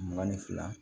Mugan ni fila